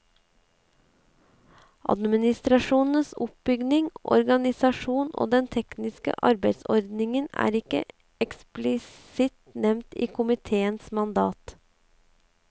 Administrasjonens oppbygning, organisasjon og den tekniske arbeidsordningen er ikke eksplisitt nevnt i komiteens mandat.